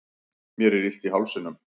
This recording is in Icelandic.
mér er illt í hálsinum